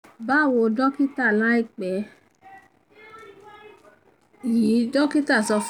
báwo dọ́kítà láìpẹ́ yìí dọ́kítà sọ